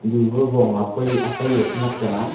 tuba vong apoi apai a ka khanyak chang aa.